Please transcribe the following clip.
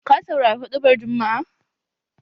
Ka saurari huɗubar jumma'a?